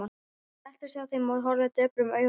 Hún settist hjá þeim og horfði döprum augum á þá.